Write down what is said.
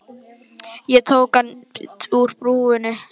Ég tók hann úr búrinu, já.